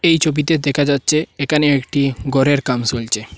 এই ছবিতে দেখা যাচ্ছে এখানে একটি ঘরের কাম চলসে।